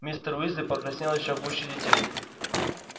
мистер уизли покраснел ещё гуще детей